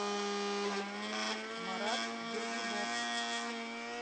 марат дергунов